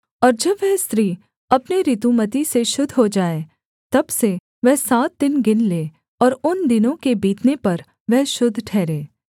और जब वह स्त्री अपने ऋतुमती से शुद्ध हो जाए तब से वह सात दिन गिन ले और उन दिनों के बीतने पर वह शुद्ध ठहरे